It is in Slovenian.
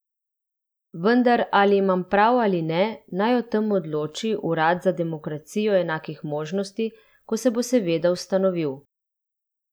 Vendar ali imam prav ali ne, naj o tem odloči Urad za demokracijo enakih možnosti, ko se bo seveda ustanovil.